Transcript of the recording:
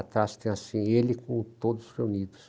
Atrás tem assim, ele com todos reunidos.